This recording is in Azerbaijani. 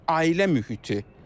Ailə mühiti.